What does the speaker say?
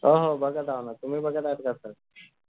हो हो बघत आहे ना तुम्ही बघत आहात का sir